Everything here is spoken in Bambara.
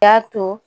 Y'a to